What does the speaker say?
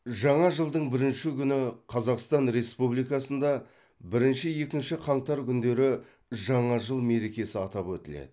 жаңа жылдың бірінші күні қазақстан республикасында бірінші екінші қаңтар күндері жаңа жыл мерекесі атап өтіледі